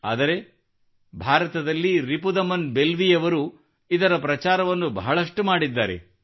ಆದರೆ ಭಾರತದಲ್ಲಿ ರಿಪುದಮನ್ ಬೆಲ್ವಿಯವರು ಇದರ ಪ್ರಚಾರವನ್ನು ಬಹಳಷ್ಟು ಮಾಡಿದ್ದಾರೆ